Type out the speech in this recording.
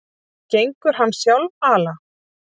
Gengur hann sjálfala?